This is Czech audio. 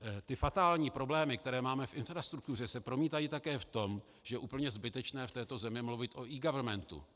Ty fatální problémy, které máme v infrastruktuře, se promítají také v tom, že je úplně zbytečné v této zemi mluvit o eGovernmentu.